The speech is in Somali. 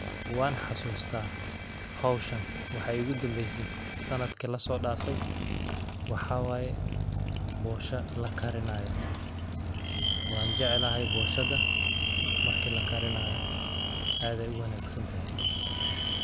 Wan xasustaa howshan waxa igudambeysi sanadki lasodafey, waxa waye bosha lakarinayo wan jeclahaay boshada marki lakarinayo aad ay uwanagsan tahaay.